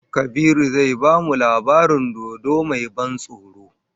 Kabiru zai bamu labarin dodo mai ban tsoro